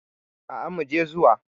Aa muje zuwa.